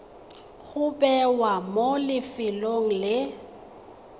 go bewa mo lefelong le